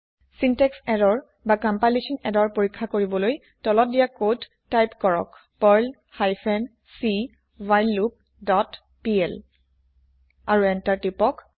syntax error না compilation error পৰীক্ষা কৰিবলৈ তলত দিয়া কদ টাইপ কৰক Perl hyphen c while loop dot PL আৰু এন্তাৰ টিপক